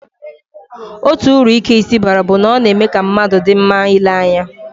Otu uru ike isi baara bụ na ọ na-eme ka mmadụ dị mma ile anya